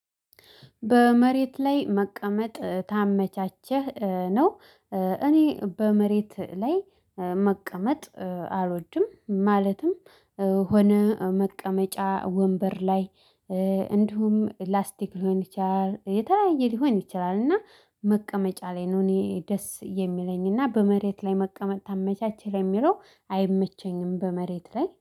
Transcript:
በመሬት ላይ መቀመጥ ታመቻቸህ ነው። እኔ በመሬት ላይ መቀመጥ አልወድም ማለትም ሆነ መቀመጫ ወንበር ላይ። እንዲሁም ላስቲክ ሊሆን ይችላል የተለያየ ሊሆን ይችላል እና መቀመጫ ላይ ነው። እኔ ደስ የሚለኝና በመሬት ላይ መቀመጥ ይመችሃል የሚለው አይመቸኝም በመሬት ላይ